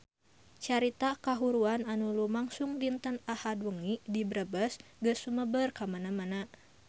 Carita kahuruan anu lumangsung dinten Ahad wengi di Brebes geus sumebar kamana-mana